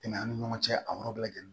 Tɛmɛn an ni ɲɔgɔn cɛ a yɔrɔ bɛɛ lajɛlen